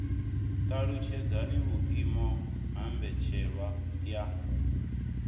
talutshedza vhuimo ha mbetshelwa ya